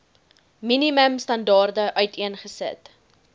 minimum standaarde uiteengesit